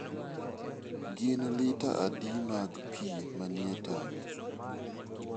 Gin lita adi mag pi manie tangi?